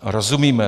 Rozumíme.